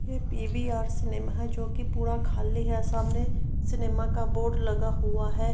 PVR cinema जोकि पूरा खाली है। सामने सिनेमा का बोर्ड लगा हुआ है।